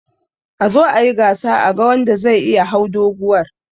Azo ayi gasa a ga wanda zai iya hau doguwar.